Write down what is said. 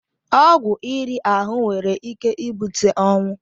Ọgwụ iri ahụ nwere ike ibute ọnwụ.